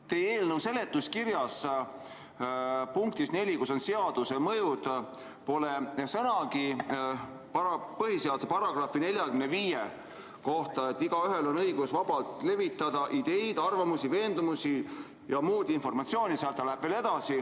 Teie eelnõu seletuskirja punktis 4, kus on välja toodud seaduse mõjud, pole sõnagi põhiseaduse § 45 kohta, mille järgi igaühel on õigus vabalt levitada ideid, arvamusi, veendumusi ja muud informatsiooni .